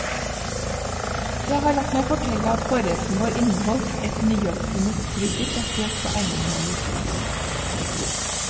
Jeg har latt meg fortelle at forretten vår inneholdt et nyoppfunnet krydder basert på einenåler.